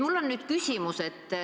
Mul on nüüd küsimus.